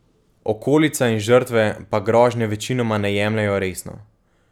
Okolica in žrtve pa grožnje večinoma ne jemljejo resno.